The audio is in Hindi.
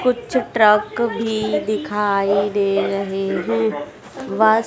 कुछ ट्रक भी दिखाई दे रहे हैं वा--